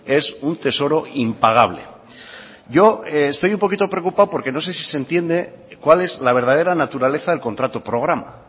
es un tesoro impagable yo estoy un poquito preocupado porque no se si se entiende cuál es la verdadera naturaleza del contrato programa